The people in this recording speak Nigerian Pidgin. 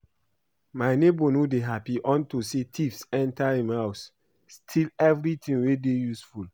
My neighbour no dey happy unto say thieves enter im house steal everything wey dey useful